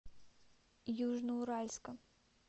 южноуральска